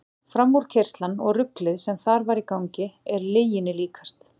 Framúrkeyrslan og ruglið sem þar var í gangi er lyginni líkast.